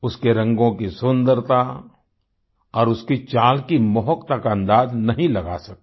उसके रंगों की सुन्दरता और उसकी चाल की मोहकता का अंदाज नहीं लगा सकते